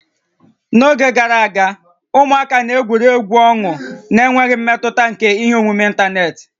N'oge gara aga, ụmụaka na-egwuri egwu ọnụ n'enweghị mmetụta nke ihe omume ịntanetị